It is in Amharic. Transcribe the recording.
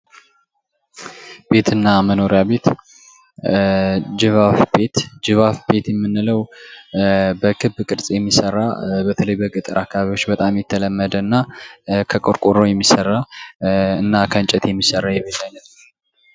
ቤትና መኖሪያ ቤት ጅብ አፍ ቤት የምንለው በክብ ቅርጽ የሚሠራ በተለይ በገጠራማ አካባቢዎች በጣም የተለመደና ከቆርቆሮ የሚሠራ እና ከእንጨት የሚሰራው የቤት አይነት ነው።